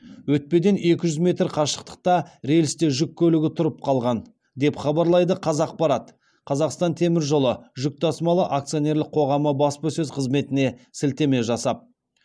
өтпеден екі жүз метр қашықтықта рельсте жүк көлігі тұрып қалған деп хабарлайды қазақпарат қазақстан темір жолы жүк тасымалы акционерлік қоғамы баспасөз қызметіне сілтеме жасап